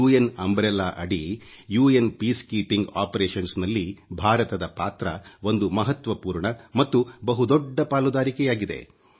ವಿಶ್ವಸಂಸ್ಥೆಯ ಶಾಂತಿ ಪ್ರಕ್ರಿಯೆಯು ವಿಶ್ವಸಂಸ್ಥೆಯ ಸಂಪೂರ್ಣ ರಕ್ಷಣೆಯ ಛತ್ರಿಯಾಗಿದ್ದು ಇದರಲ್ಲಿ ಭಾರತದ ಪಾತ್ರ ಒಂದು ಮಹತ್ವಪೂರ್ಣ ಮತ್ತು ಬಹುದೊಡ್ಡ ಪಾಲುದಾರಿಕೆಯಾಗಿದೆ